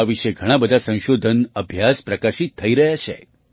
આ વિશે ઘણા બધા સંશોધન અભ્યાસ પ્રકાશિત થઈ રહ્યા છે